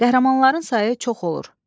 Qəhrəmanların sayı çox olur.